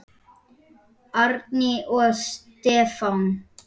Árný og Stefán.